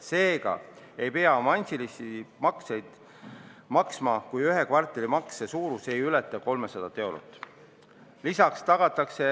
Seega ei pea avansilisi makseid maksma, kui ühe kvartali makse suurus ei ületa 300 eurot.